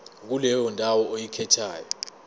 kuleyo ndawo oyikhethayo